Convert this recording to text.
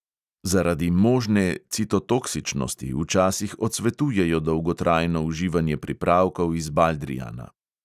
Zaradi možne citotoksičnosti včasih odsvetujejo dolgotrajno uživanje pripravkov iz baldrijana.